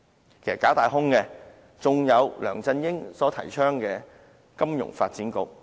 其實，假大空的還有梁振英所提倡的金融發展局。